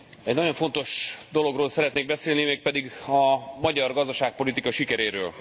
Egy nagyon fontos dologról szeretnék beszélni, mégpedig a magyar gazdaságpolitika sikeréről.